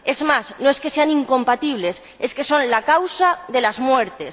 Es más, no es que sean incompatibles, es que son la causa de las muertes.